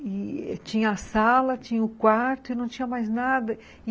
E tinha a sala, tinha o quarto e não tinha mais nada.